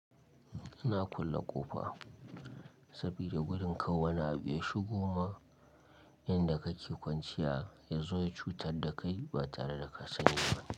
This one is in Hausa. Ina kulle ƙofa sabida wurin kar wani abin ya shigoma yanda kake kwanciya ya zo ya cutar da kai ba tare da ka sani ba.